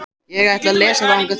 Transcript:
Ég ætla að lesa þangað til.